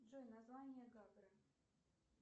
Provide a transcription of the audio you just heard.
джой название гагры